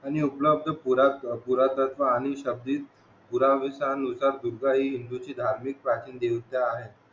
आणि उपलबध पूर्वतात्मा आणि शाब्दिक पुरावेनुसार दुर्गा हि हिंदू ची धार्मिक प्राचीन देवता आहे